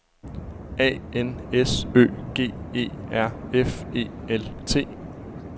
A N S Ø G E R F E L T